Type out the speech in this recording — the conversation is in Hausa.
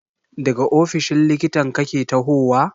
Daga ofishin likitan kake tahowa?